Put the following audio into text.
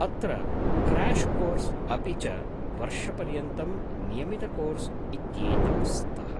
अत्र crash course अपि च वर्षपर्यन्तं नियमितकोर्स् इत्येतौ स्तः।